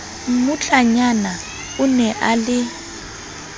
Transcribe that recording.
mmutlanyana o ne a le